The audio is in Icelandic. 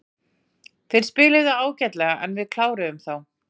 Þeir spiluðu ágætlega en við kláruðum þá.